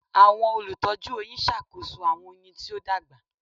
Awọn olutọju oyin ṣakoso awọn oyin ti o dagba